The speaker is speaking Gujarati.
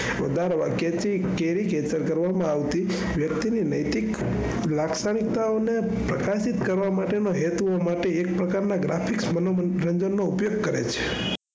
વધારે વર્ગે થી cancel કરવામાં આવતી વ્યક્તિ ને નૈતિક લાક્ષણિકતાઓ ને પ્રંકર્ષિત કરવા માટે ના હેતુઓમાંથી એક પ્રકાર ના graphics મનોરંજન નો ઉપયોગ કરે છે.